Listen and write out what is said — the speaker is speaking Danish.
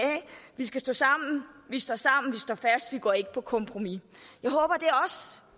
vi skal stå sammen vi står fast vi går ikke på kompromis